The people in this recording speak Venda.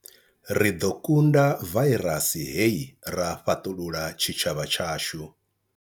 Ri ḓo kunda vairasi hei, ra fhaṱulula tshitshavha tshashu.